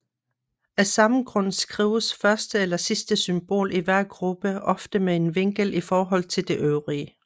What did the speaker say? Af samme grund skrives første eller sidste symbol i hver gruppe ofte med en vinkel i forhold til de øvrige